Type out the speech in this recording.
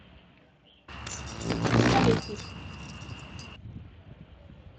столетник